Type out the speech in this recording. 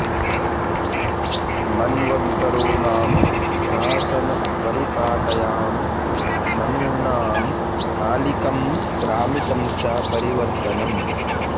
मन्वन्तरो नाम शासनपरिपाटयां मनूनां कालिकं क्रमिकं च परिवर्त्तनम्